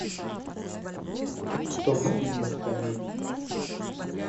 топ фильмов комедий